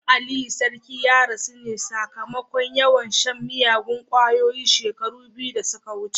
Dan Aliyu sarki ya rasu ne sakamakon yawan shan miyagun kwayoyi shekaru biyu da suka wuce.